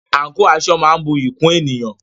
Àǹkò/aṣọ máa ń bu iyì kún ènìyàn.